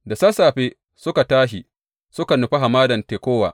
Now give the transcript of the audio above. Da sassafe suka tashi suka nufi Hamadan Tekowa.